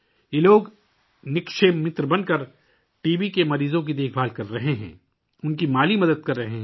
یہ لوگ بے لوث دوست بن کر ٹی بی مریضوں کی دیکھ بھال کر رہے ہیں اور ان کی مالی مدد کر رہے ہیں